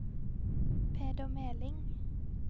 Peder Meling